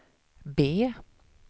B